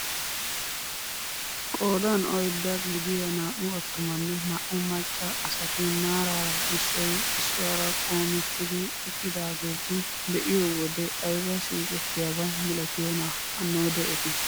Qoodan oyddaa gidiyaa naa"u attumanne naa"u macca asati maarara issoy issuwaara qoometidi eqqidaageta be'iyoo wode ayba siiqettiyaaba milatiyoonaa hanodee eti.